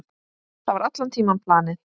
Það var allan tímann planið.